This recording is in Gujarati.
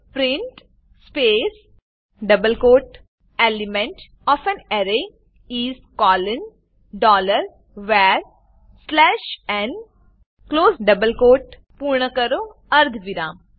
print space double quote element O F A N array is colon dollar var slash n close double quote પૂર્ણ કરો અર્ધવિરામ